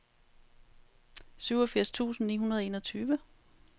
syvogfirs tusind ni hundrede og enogtyve